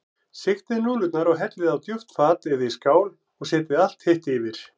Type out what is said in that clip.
Sigtið núðlurnar og hellið á djúpt fat eða í skál og setjið allt hitt yfir.